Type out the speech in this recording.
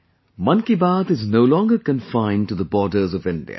'Mann Ki Baat' is no longer confined to the borders of India